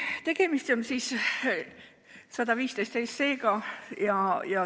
Tegemist on seaduseelnõuga 115.